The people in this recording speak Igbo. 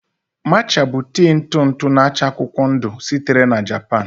Matcha bụ tii ntụ ntụ n'acha akwụkwọ ndụ sitere na Japan